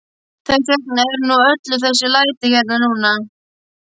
Þess vegna eru nú öll þessi læti hérna núna.